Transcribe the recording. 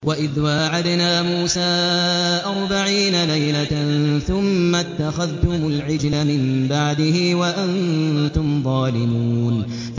وَإِذْ وَاعَدْنَا مُوسَىٰ أَرْبَعِينَ لَيْلَةً ثُمَّ اتَّخَذْتُمُ الْعِجْلَ مِن بَعْدِهِ وَأَنتُمْ ظَالِمُونَ